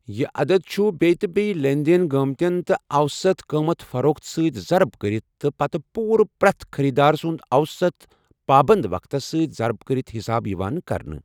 یہِ عدد چھُ بیٚیہِ تہِ بیٚیہِ لین دین گٔمٕتیٚن تہٕ اوسط قۭمتھٕ فروخت سۭتۍضرب کٔرِتھ تہٕ پتہٕ پوٗرٕ پرٛٮ۪تھ خٔریٖدار سُنٛد اوسط پابنٛد وقتَس سۭتۍ ضرب کٔرِتھ حساب یِوان کرنہٕ۔